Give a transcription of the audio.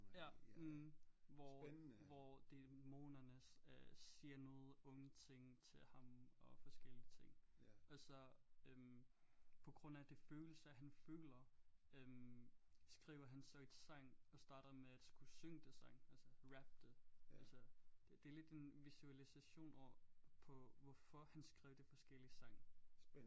Ja mh hvor hvor dæmonerne øh siger noget onde ting til ham og forskellige ting og så øh på grund af det følelser han føler øh skriver han så et sang og starter med at skulle synge det sang altså rappe det altså det er lidt en visualisation over på hvorfor han skrev de forskellige sang